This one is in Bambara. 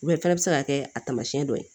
o fana bɛ se ka kɛ a tamasiyɛn dɔ ye